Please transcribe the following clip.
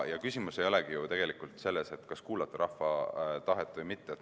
Ja küsimus ei olegi ju tegelikult selles, kas kuulata rahva tahet või mitte.